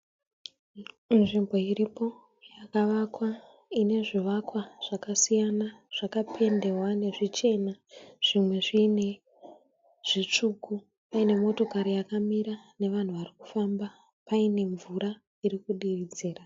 Nzvimbo iripo yakavakwa inezvivakwa zvakasiyana zvakapendewa nezvichena zvimwe zviine zvitsvuku paine motokari yakamira nevanhu varikufamba paine mvura irikudiridzira.